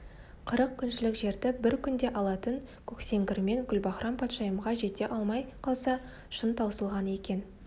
қырық күншілік жерді бір күнде алатын көксеңгірмен гүлбаһрам-патшайымға жете алмай қалса шын таусылған екен